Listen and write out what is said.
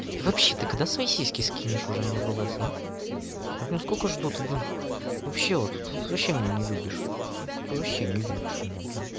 и вообще ты когда свои сиськи скинешь уже мне в лс да блин сколько жду ты блин вообще вот тут вообще меня не любишь ну тут вообще не любишь меня блин